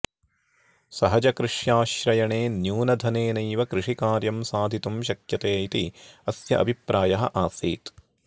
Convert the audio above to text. सहजकृष्याश्रयणे न्यूनधनेनैव कृषिकार्यं साधितुं शक्यते इति अस्य अभिप्रायः आसीत्